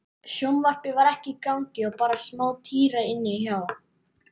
Sjónvarpið var ekki í gangi og bara smátíra inni hjá